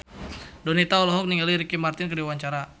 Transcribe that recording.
Donita olohok ningali Ricky Martin keur diwawancara